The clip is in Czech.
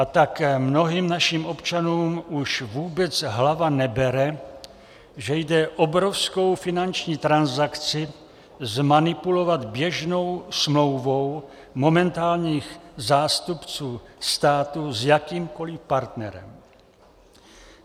A tak mnohým našim občanům už vůbec hlava nebere, že jde obrovskou finanční transakci zmanipulovat běžnou smlouvou momentálních zástupců státu s jakýmkoli partnerem.